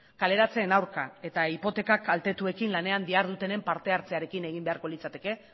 kaleratzeen aurka eta hipoteka kaltetuekin lanean dihardutenen parte hartzearekin egin beharko litzateke